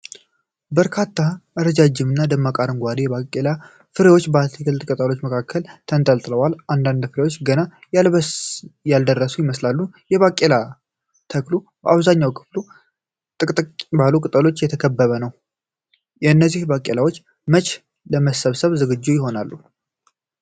በርካታ ረዣዥም እና ደማቅ አረንጓዴ የባቄላ ፍሬዎች በትልልቅ ቅጠሎች መካከል ተንጠልጥለዋል። አንዳንድ ፍሬዎች ገና ያልደረሱ ይመስላሉ። የባቄላ ተክሉ አብዛኛው ክፍል ጥቅጥቅ ባሉ ቅጠሎች የተከበበ ነው። እነዚህ ባቄላዎች መቼ ለመሰብሰብ ዝግጁ ይሆናሉ?